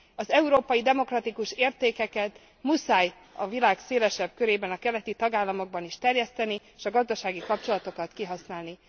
Az európai demokratikus értékeket muszáj a világ szélesebb körében, a keleti tagállamokban is terjeszteni, és a gazdasági kapcsolatokat kihasználni.